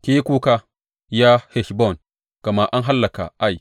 Ki yi kuka, ya Heshbon, gama an hallaka Ai!